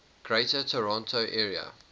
greater toronto area